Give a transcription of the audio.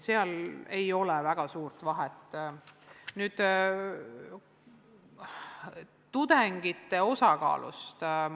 Nüüd tudengite osakaalust.